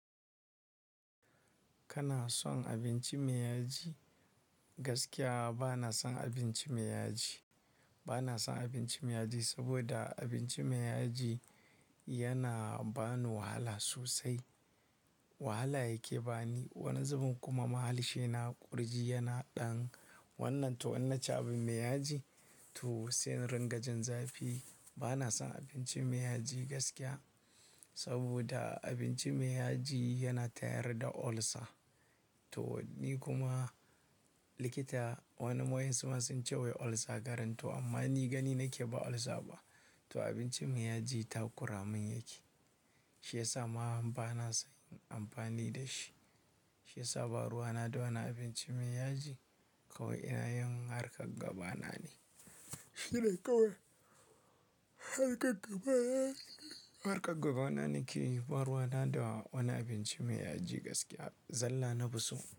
Kana son abinci mai yaji? Gaskiya ba na son abinci mai yaji. Ba na son abinci mai yaji, saboda abinci mai yaji yana ba ni wahala sosai. Wahala yake ba ni. Wani zubin kuma mahalshi na ƙurji yana ɗan wannan to wannan ce abin mai yaji. To sai ringajin zafi. Ba na son abinci mai yaji gaskiya saboda abinci mai yaji yana tayar da ulcer. To ni kuma likita wani waye su ma sun ce wai ulcer garin to amma ni gani nake ba ulcer ba. To abinci mai yaji ta ƙuramin yake. Shi ya sa ma bana sayen amfani da shi. Shi ya sa baruwa na da wani abinci mai yaji kawai ina yin harkar gaba na ne. Shi dai kawai harkar gaba na yake. Harkar gaba na nake, baruwa na da wani abinci mai yaji gaskiya zalla na buso.